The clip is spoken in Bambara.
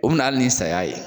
O bi na ali ni saya ye